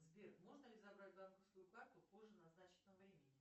сбер можно ли забрать банковскую карту позже назначенного времени